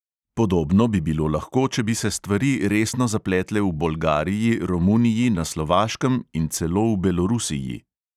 Podobno bi bilo lahko, če bi se stvari resno zapletle v bolgariji, romuniji, na slovaškem in celo v belorusiji.